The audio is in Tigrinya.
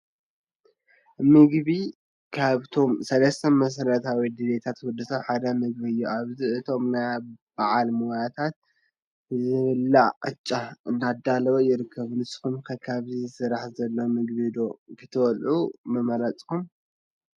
ምግቢ፡- ካብቶም ሰለስተ መሰረታዊ ድልየታት ወዲ ሰብ ሓደ ምግቢ እዩ፡፡ ኣብዚ እቶስ ናይ ባዓል ሞያታት ዝብላዕ ቅጫ እንዳዳለው ይርከቡ፡፡ ንስኹም ከ ካብዚ ዝስራሕ ዘሎ ምግቢ ዶ ክትበልዑ ንደለኹም?